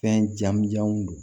Fɛn jamujanw don